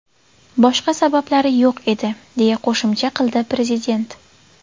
Boshqa sabablari yo‘q edi”, deya qo‘shimcha qildi prezident.